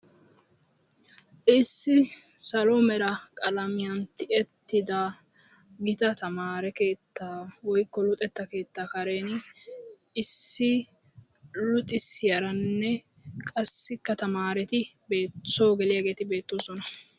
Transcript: Issi salo mera qalamiyan tiyettida gita tamaare keettaa woyikko luxetta keettaa kareeni issi luxissiyaranne qassikka tamaareti soo geliyaageeti beettoosona.